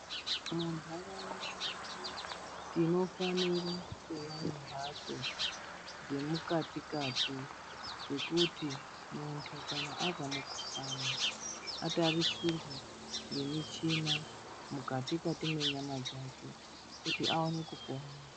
Munharaunda medu tinofanira kunge tine mbatso dzemukati Kati zvekuti muntu kana abatwa nemukuhlani atarisire nemuchina mukati Kati menyama dzawo kuti aone kupona.